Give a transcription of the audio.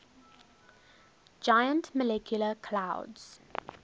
giant molecular clouds